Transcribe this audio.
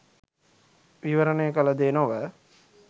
විවරණය කළ දේ නොව